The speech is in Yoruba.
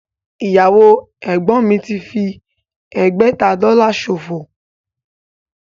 Ìyàwó ẹ̀gbọ́n mi fi ẹgbẹ̀ta Dọ́là ṣòfò